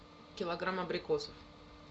килограмм абрикосов